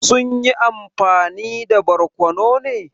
Sun yi amfani da barkono ne?